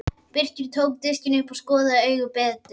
Birkir tók diskinn upp og skoðaði augað betur.